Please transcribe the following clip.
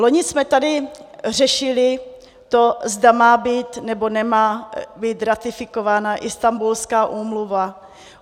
Loni jsme tady řešili to, zda má být nebo nemá být ratifikována Istanbulská úmluva.